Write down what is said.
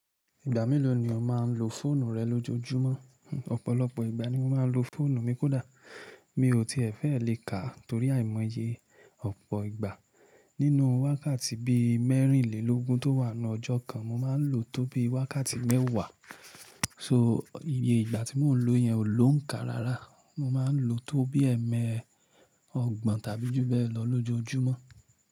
Ìgbà mélòó ni o máa ń lo fóònù rẹ lójoojúmọ́? Ọ̀pọ̀lọpọ̀ ìgbà ni mo máa ń lo fóònù mi kódà mi ò ti e fẹ́ lè ká torí àìmọye ọ̀pọ̀ ìgbà. Nínú wákàtí bí mẹ́rìnlélógún tó wà nínú ọjọ́ kan, mo máa ń lo tó bí wákàtí mẹ́wàá. So iye ìgbà tí mò ń lo yẹn ò ló ń ká rárá. Mo máa ń lo tó bí ẹẹ́mẹ́ ọgbọ̀n tàbí jù bẹ́ẹ̀ lọ lójoojúmọ́.